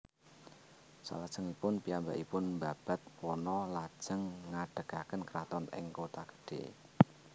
Salajengipun piyambakipun mbabad wana lajeng ngadegaken kraton ing Kotagedhé